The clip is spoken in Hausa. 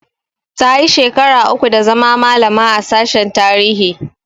Tayi shekara uku da zama malama a sashen tarihi